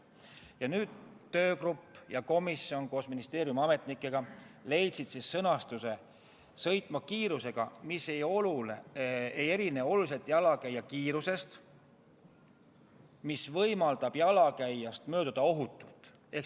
Ja nüüd leidsid töögrupp ja komisjon koos ministeeriumi ametnikega järgmise sõnastuse: "sõitma kiirusega, mis ei erine oluliselt abivahendit mittekasutava jalakäija kiirusest ja mis võimaldab temast ohutult mööduda".